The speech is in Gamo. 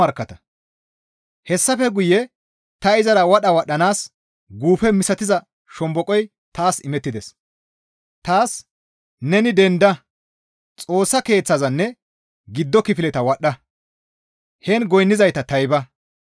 Hessafe guye ta izara wadha wadhdhanaas guufe misatiza shomboqoy taas imettides. Taas, «Neni dendada Xoossa Keeththazanne giddo kifileta wadhdha! Heen goynnizayta tayba.